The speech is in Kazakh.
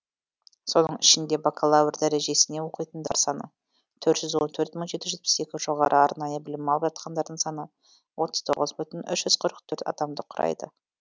соның ішінде бакалавр дәрежесіне оқитындар саны төрт жүз он төрт мың жеті жүз жетпіс екі жоғары арнайы білім алып жатқандардың саны отыз тоғыз бүтін үш жүз қырық төрт адамды құрайды